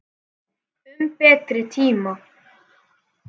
Um betri tíma.